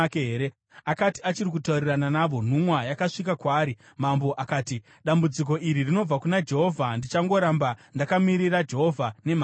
Akati achiri kutaurirana navo, nhumwa yakasvika kwaari. Mambo akati, “Dambudziko iri rinobva kuna Jehovha. Ndichagoramba ndakamirira Jehovha nemhaka yeiko?”